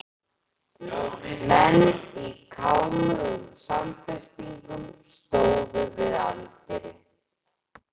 Menn í kámugum samfestingum stóðu við anddyri.